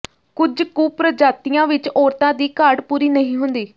ਕੁਝ ਕੁ ਪ੍ਰਜਾਤੀਆਂ ਵਿਚ ਔਰਤਾਂ ਦੀ ਘਾਟ ਪੂਰੀ ਨਹੀਂ ਹੁੰਦੀ